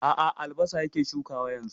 A a, albasa yake shukawa yanzu.